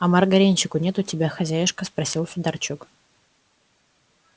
а маргаринчику нет у тебя хозяюшка спросил федорчук